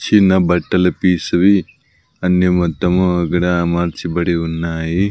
చిన్న బట్టలు పీసువి అన్నీ మొత్తం అక్కడ అమర్చబడి ఉన్నాయి.